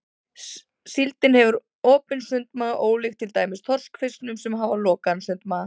Síldin hefur opinn sundmaga ólíkt til dæmis þorskfiskum sem hafa lokaðan sundmaga.